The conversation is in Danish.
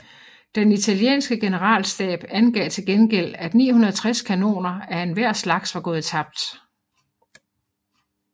Den italienske generalstab angav til gengæld at 960 kanoner af enhver slags var gået tabt